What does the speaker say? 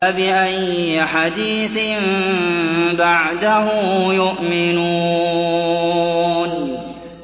فَبِأَيِّ حَدِيثٍ بَعْدَهُ يُؤْمِنُونَ